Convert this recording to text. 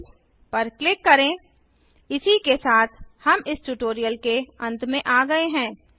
save पर click करें इसी के साथ हम इस ट्यूटोरियल के अंत में आ गये हैं